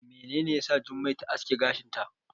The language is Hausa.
Menene yasa Jummai ta aske gashinta?